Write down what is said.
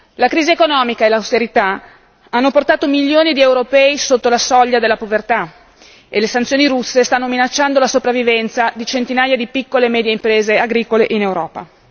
La crisi economica e l'austerità hanno portato milioni di europei sotto la soglia della povertà, e le sanzioni russe stanno minacciando la sopravvivenza di centinaia di piccole e medie imprese agricole in Europa.